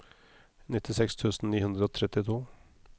nittiseks tusen ni hundre og trettito